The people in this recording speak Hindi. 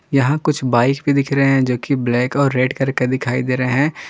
यहां कुछ बाइक भी दिख रहे हैं जोकि ब्लैक और रेड करके दिखाई दे रहे हैं।